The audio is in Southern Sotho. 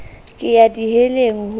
ke ya di heleng ho